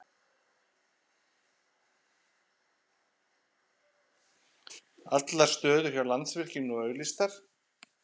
Allar stöður hjá Landsvirkjun nú auglýstar